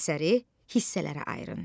Əsəri hissələrə ayırın.